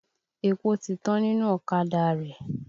Epo ti tán nínú ọ̀kadà rẹ.